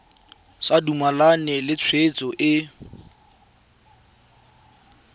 sa dumalane le tshwetso e